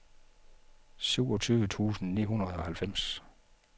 syvogtyve tusind ni hundrede og halvfems